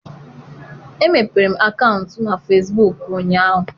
Emepere m akaụntụ na Fesbuk ụnyaahụ.